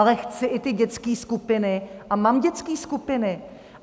Ale chci i ty dětské skupiny a mám dětské skupiny.